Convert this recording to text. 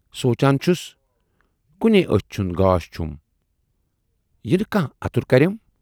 سونچان چھُس کُنٕے ٲچھ ہُند گاش چھُم، یِنہٕ کانہہ اَتُر کرٮ۪م۔